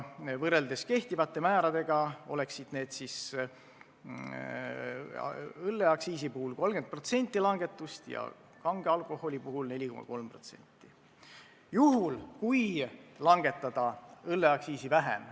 Võrreldes kehtivate määradega paneme ette õlleaktsiisi puhul 30% langetust ja kange alkoholi puhul 4,3%.